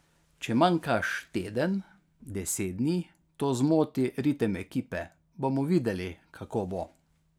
Če manjkaš teden, deset dni, to zmoti ritem ekipe, bomo videli, kako bo.